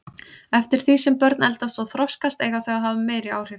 Eftir því sem börn eldast og þroskast eiga þau að hafa meiri áhrif.